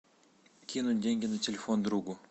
кинуть деньги на телефон другу